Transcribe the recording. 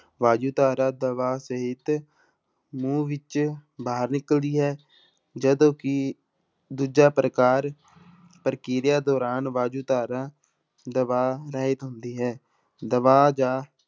ਵਾਯੂਧਾਰਾ ਦਬਾਅ ਸਹਿਤ ਮੂੰਹ ਵਿੱਚ ਬਾਹਰ ਨਿਕਲਦੀ ਹੈ, ਜਦੋਂ ਕਿ ਦੂਜਾ ਪ੍ਰਕਾਰ ਪ੍ਰਕਿਰਿਆ ਦੌਰਾਨ ਵਾਯੂਧਾਰਾ ਦਬਾਅ ਰਹਿਤ ਹੁੰਦੀ ਹੈ ਦਬਾਅ ਜਾਂ